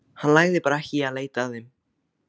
Hann lagði bara ekki í að leita að þeim.